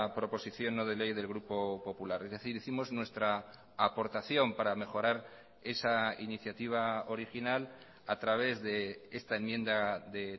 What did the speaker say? proposición no de ley del grupo popular es decir hicimos nuestra aportación para mejorar esa iniciativa original a través de esta enmienda de